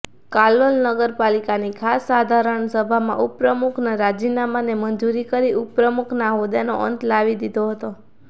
કાલોલ નગરપાલિકાની ખાસ સાધારણ સભામાં ઉપપ્રમુખના રાજીનામાને મંજૂર કરી ઉપપ્રમુખના હોદ્દાનો અંત લાવી દીધો હતો